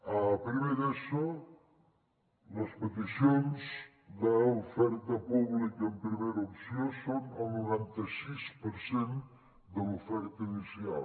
a primer d’eso les peticions d’oferta pública en primera opció són el noranta sis per cent de l’oferta inicial